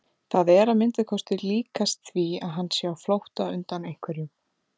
Það er að minnsta kosti líkast því að hann sé á flótta undan einhverjum.